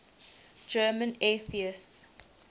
german atheists